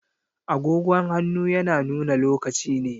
Agogon hannu yana nuna lokaci ne